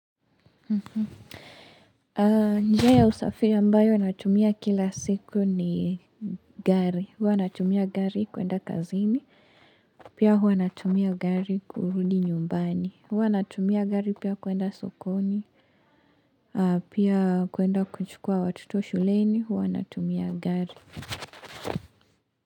Njia ya usafiri ambayo natumia kila siku ni gari Huwa natumia gari kuenda kazini Pia huwa natumia gari kurudi nyumbani Huwa natumia gari pia kuenda sokoni Pia kuenda kuchukua watoto shuleni Huwa natumia gari.